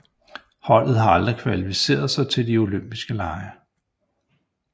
Holdet har aldrig kvalificeret sig til de olympiske lege